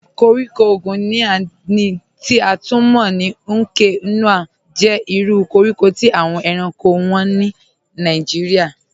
Kọ̀ríkò Guinea, ti a tun mọ̀ ní Núkè-Nòh, jẹ́ ìrù kọ̀ríkò tí awọn èránkò wọ́n ni Nàìjíríà.